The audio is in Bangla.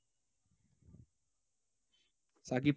সাকিব